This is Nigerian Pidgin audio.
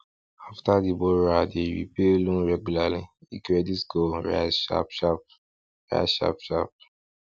after the borrower dey repay loan regularly e credit score rise sharp sharp rise sharp sharp